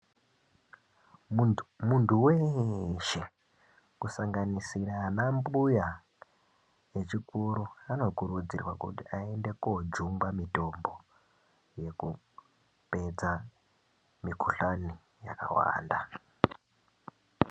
Muntu weshe, kusanganisira anambuya vechikuru, vanokurudzirwa kuti ayende kojungwa mitombo yekupedza mikhuhlane yakawanda.